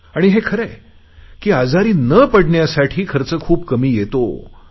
आणि हे खरे आहे की आजारी न पडण्यासाठी खर्च खूप कमी येतो